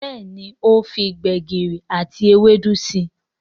Béèni o fí gbegiri àti Ewédú sí.